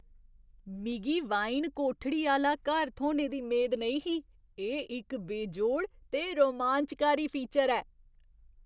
मिगी वाइन कोठड़ी आह्‌ला घर थ्होने दी मेद नेईं ही, एह् इक बेजोड़ ते रोमांचकारी फीचर ऐ।